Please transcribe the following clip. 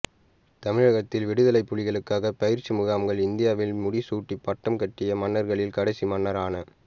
தமிழகத்தில் விடுதலைப் புலிகளுக்காகப் பயிற்சி பயிற்சி முகாம்கள் இந்தியாவில் முடிசூட்டி பட்டம் கட்டிய மன்னர்களில் கடைசி மன்னரான